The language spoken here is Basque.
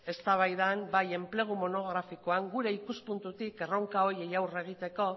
eztabaidan eta bai enplegu monografikoan gure ikuspuntutik erronka horiei aurre egiteko